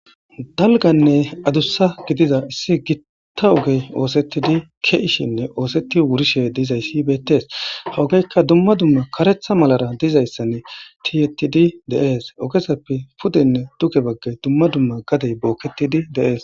dalganne adussa gidiza issi gitta ogey oosettidi keishinne oosetti wurishe dizayssi beettees hawogeykka dumma dumma karetha malara dizayssan tiyetidi deees ogesappe pudenne duge baggey dumma dumma gadey bookketidi deees